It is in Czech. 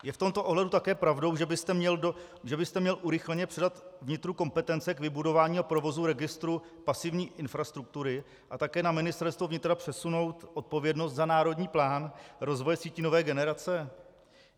Je v tomto ohledu také pravdou, že byste měl urychleně předat vnitru kompetence k vybudování a provozu registru pasivní infrastruktury a také na Ministerstvo vnitra přesunout odpovědnost za národní plán rozvoje sítí nové generace?